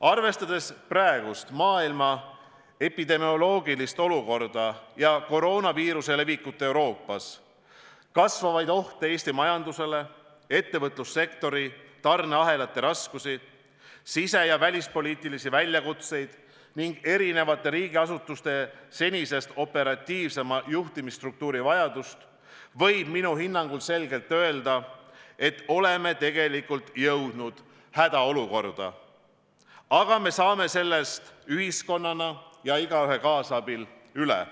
Arvestades praegust maailma epidemioloogilist olukorda ja koroonaviiruse levikut Euroopas, kasvavaid ohte Eesti majandusele, ettevõtlussektori tarneahelate raskusi, sise- ja välispoliitilisi väljakutseid ning erinevate riigiasutuste senisest operatiivsema juhtimise struktuuri vajadust, võib minu hinnangul selgelt öelda, et oleme tegelikult jõudnud hädaolukorda, aga me saame sellest ühiskonnana ja igaühe kaasabil üle.